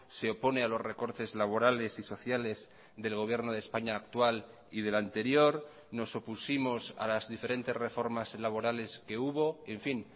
se opone a los recortes laborales y sociales del gobierno de españa actual y del anterior nos opusimos a las diferentes reformas laborales que hubo en fin